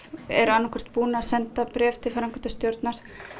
eru annaðhvort búnar að senda bréf til framkvæmdarstjórnar